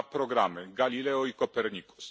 dwa programy Galileo i Copernicus.